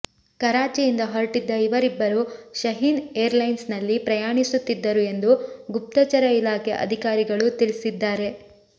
ಕರಾಚಿಯಿಂದ ಹೊರಟಿದ್ದ ಇವರಿಬ್ಬರೂ ಶಹೀನ್ ಏರ್ಲೈನ್ಸ್ನಲ್ಲಿ ಪ್ರಯಾಣಿಸುತ್ತಿದ್ದರು ಎಂದು ಗುಪ್ತಚರ ಇಲಾಖೆ ಅಧಿಕಾರಿಗಳು ತಿಳಿಸಿದ್ದಾರೆ